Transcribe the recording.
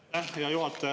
Aitäh, hea juhataja!